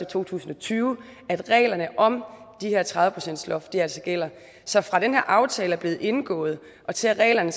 to tusind og tyve at reglerne om det her tredive procentsloft gælder så fra den her aftale er blevet indgået og til at reglerne